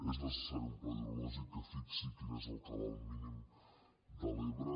és necessari un pla hidrològic que fixi quin és el cabal mínim de l’ebre